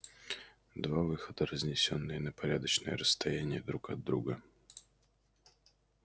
два выхода разнесённые на порядочное расстояние друг от друга